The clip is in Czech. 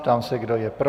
Ptám se, kdo je pro.